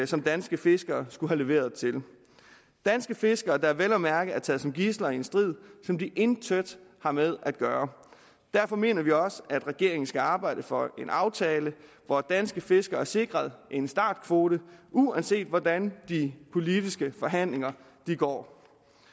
som danske fiskere skulle have leveret til danske fiskere der vel at mærke er taget som gidsler i en strid som de intet har med at gøre derfor mener vi også at regeringen skal arbejde for en aftale hvor danske fiskere er sikret en startkvote uanset hvordan de politiske forhandlinger går